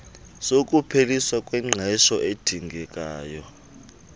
sokupheliswa kwengqesho esidingekayo